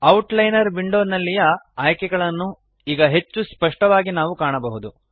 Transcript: outliner ವಿಂಡೋನಲ್ಲಿಯ ಆಯ್ಕೆಗಳನ್ನು ಈಗ ಹೆಚ್ಚು ಸ್ಪಷ್ಟವಾಗಿ ನಾವು ಕಾಣಬಹುದು